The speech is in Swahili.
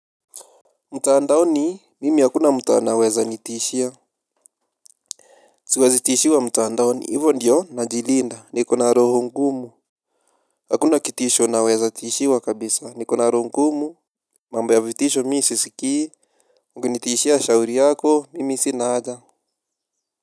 Mtaandaoni mimi hakuna mtu anaweza nitishia. Siwezi tishiwa mtaandaoni ivo ndiyo najilinda niko na roho ngumu. Hakuna kitisho naweza tishiwa kabisa niko na roho ngumu. Mambo ya vitisho mii sisikii mkinitishia shauri yako mimi sina aja.